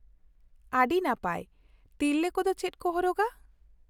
ᱟᱹᱰᱤ ᱱᱟᱯᱟᱭ ᱾ ᱛᱤᱨᱞᱟᱹ ᱠᱚᱫᱚ ᱪᱮᱫ ᱠᱚ ᱦᱚᱨᱚᱜᱟ ?